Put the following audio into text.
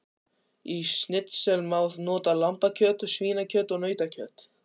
Í snitsel má nota lambakjöt, svínakjöt og nautakjöt.